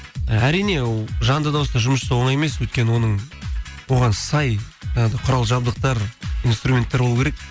і әрине жанды дауыста жұмыс жасау оңай емес өйткені оның оған сай ы құрал жабдықтар инструменттер болу керек